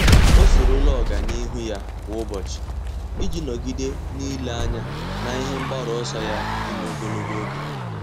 Ọ́ soro la ọ́gànihu ya kwa ụ́bọ̀chị̀ iji nọ́gídé n’ílé anya n’ihe mgbaru ọsọ ya dị ogologo oge.